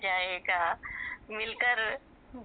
जायेगा .... मिलकर